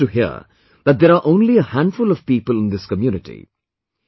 You will be amazed to hear that there are only a handful of people in this community